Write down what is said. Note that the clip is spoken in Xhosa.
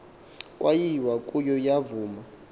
kwayiwa kuyo yavuma